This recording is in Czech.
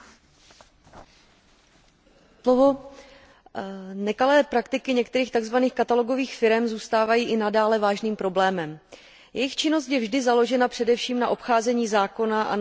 Paní předsedající, nekalé praktiky některých tzv. katalogových firem zůstávají i nadále vážným problémem. Jejich činnost je vždy založena především na obcházení zákona a na velmi špatné vymahatelnosti práva.